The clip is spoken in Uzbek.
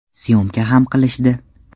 Syomka ham qilishdi.